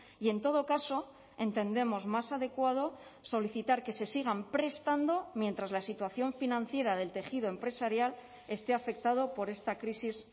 y en todo caso entendemos más adecuado solicitar que se sigan prestando mientras la situación financiera del tejido empresarial esté afectado por esta crisis